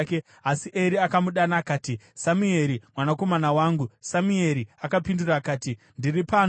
asi Eri akamudana akati, “Samueri, mwanakomana wangu.” Samueri akapindura akati, “Ndiri pano.”